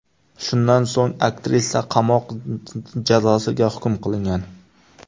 Shundan so‘ng aktrisa qamoq jazosiga hukm qilingan.